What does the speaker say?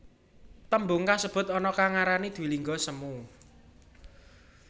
Tembung kasebut ana kang ngarani dwilingga semu